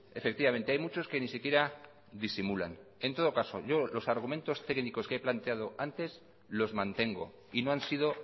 efectivamente hay muchos que ni siquiera disimulan en todo caso yo los argumentos técnicos que he planteado antes los mantengo y no han sido